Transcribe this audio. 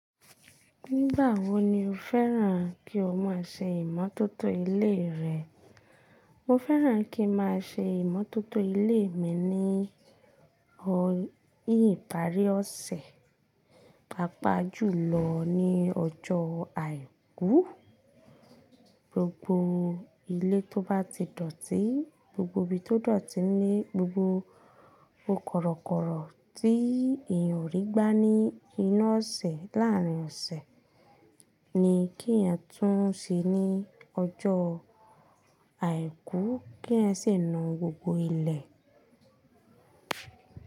Nígbà wo ni o fẹ́ràn kí o máa ṣe ìmọ́tótó ilé rẹ? Mo fẹ́ràn kín máa ṣe ìmọ́tótó ilé mi ní ọ̀yí ìparí ọ̀sẹ̀, pàápàá jùlọ ní ọjọ́ àìkú. Gbogbo ilé tó bá ti dọ̀tí, gbogbo ibi tó dọ̀tí ní gbogbo korokoro tí èèyàn ò rí gbá ní inu ọ̀sẹ̀ láàárín ọ̀sẹ̀ ni kí èèyàn tún ṣe ní ọjọ́ àìkú, kí èèyàn sì nu gbogbo ilẹ̀.